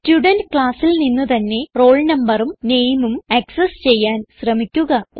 student classൽ നിന്ന് തന്നെ roll noഉം nameഉം ആക്സസ് ചെയ്യാൻ ശ്രമിക്കുക